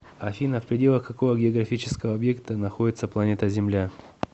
афина в пределах какого географического объекта находится планета земля